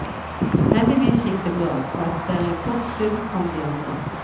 Heldigvis gikk det bra, og etter en kort stund kom de andre.